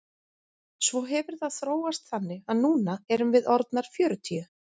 Svo hefur það þróast þannig að núna erum við orðnar fjörutíu.